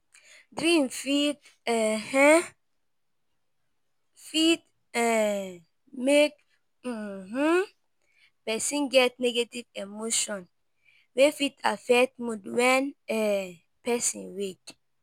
Dream fit um fit um make um person get negative emotion wey fit affect mood when um person wake